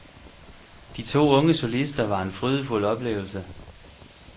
De to unge solister var en frydefuld oplevelse.